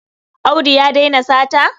Audu ya daina sata?